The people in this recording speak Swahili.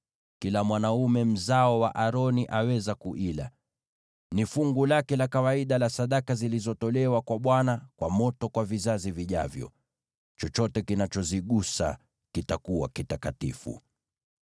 Kila mwanaume mzao wa Aroni aweza kuila. Ni fungu lake la kawaida la sadaka zilizotolewa kwa Bwana kwa moto kwa vizazi vijavyo. Chochote kinachozigusa kitakuwa kitakatifu.’ ”